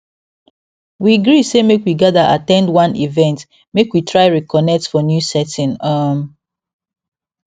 we gree say make we gather at ten d one event make we try reconnect for new setting um